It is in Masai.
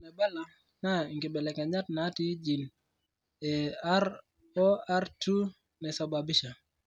Ore enaabila naa inkibelekenyat naatii gene e ROR2 naisababisha.